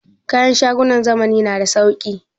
Kayan shagunan zamani na da sauki?